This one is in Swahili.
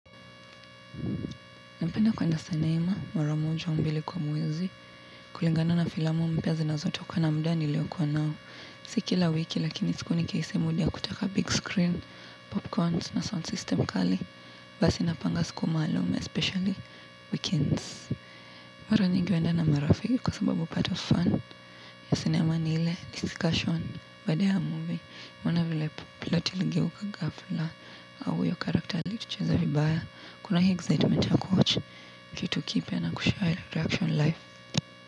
Napenda kwenda senema, mara moja au mbili kwa mwezi, kulingana na filamu mpya zinazotoka na mda nilioko nao. Si kila wiki lakini siku nikhisi muda wa kutaka big screen, popcorns na sound system kali, basi napanga siku maalum, especially weekends. Mara nyingi huenda na marafiki kwa sababu part of fun ya cinema ni ile, discussion, baada ya movie, mwana vile plot tiligiu kagafula au huyo character alitucheza vibaya. Kuna hii excitement ya kuwatch. Kitu kipia na kushare reaction life.